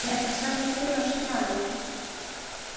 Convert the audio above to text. Á ég ekki að sækja þurrar spjarir?